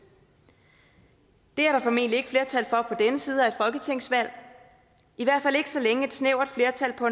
det er der formentlig ikke flertal for på denne side af folketingsvalg i hvert fald ikke så længe et snævert flertal på